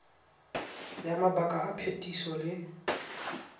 ya mabaka a phetiso le